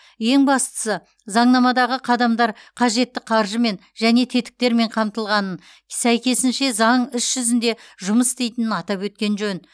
ең бастысы заңнамадағы қадамдар қажетті қаржымен және тетіктермен қамтылғанын сәйкесінше заң іс жүзінде жұмыс істейтінін атап өткен жөн